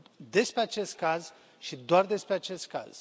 despre acest caz și doar despre acest caz.